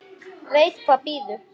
Veit hvað bíður.